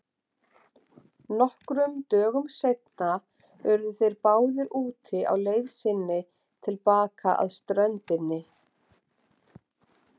Nokkrum dögum seinna urðu þeir báðir úti á leið sinni til baka að ströndinni.